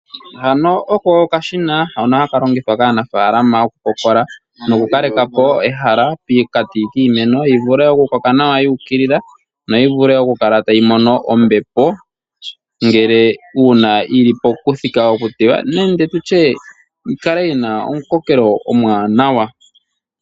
Hano oko okashina hono haka longithwa kaanafalama oku kokola noku kalekapo ehala pokati kiimeno yi vule oku koka nawa yu ukilila, yo yivule oku kala tayi mono ombepo ngele nenge una yili pokuthika oku tewa nenge tutye yikale yina omu kokelo omwanawa.